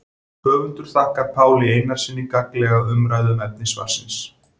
Höfundur þakkar Páli Einarssyni gagnlega umræðu um efni svarsins.